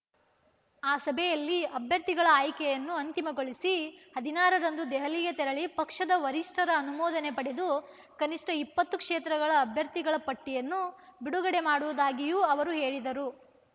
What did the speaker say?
ಆ ಸಭೆಯಲ್ಲಿ ಅಭ್ಯರ್ಥಿಗಳ ಆಯ್ಕೆಯನ್ನು ಅಂತಿಮಗೊಳಿಸಿ ಹದಿನಾರರಂದು ದೆಹಲಿಗೆ ತೆರಳಿ ಪಕ್ಷದ ವರಿಷ್ಠರ ಅನುಮದೋನೆ ಪಡೆದು ಕನಿಷ್ಠ ಇಪ್ಪತ್ತು ಕ್ಷೇತ್ರಗಳ ಅಭ್ಯರ್ಥಿಗಳ ಪಟ್ಟಿಯನ್ನು ಬಿಡುಗಡೆ ಮಾಡುವುದಾಗಿಯೂ ಅವರು ಹೇಳಿದರು